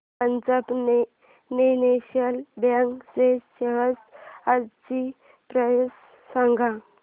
Punjab national bank च्या shares आजची price सांगा